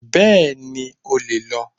Bẹ́ẹ̀ni, o le lọ